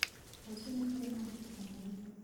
Rũciũ nĩ kũrĩ na ũhiki kanitha-inĩ